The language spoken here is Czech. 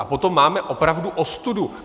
A potom máme opravdu ostudu.